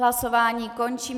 Hlasování končím.